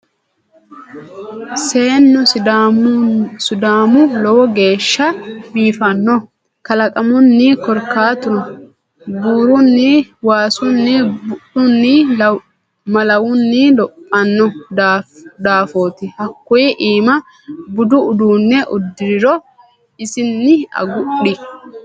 Seennu sidaamuhu lowo geeshsha biifano kalaqumunni korkaatuno buuruni waasunni bu'lunni malawunni lophano daafoti hakkuyi iima budu uduune uddiriro isinni agudhi.